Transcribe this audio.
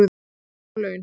Allt of há laun